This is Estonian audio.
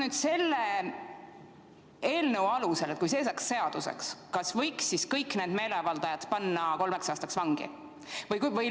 Kas selle eelnõu alusel, kui see saaks seaduseks, võiks kõik need meeleavaldajad panna kolmeks aastaks vangi?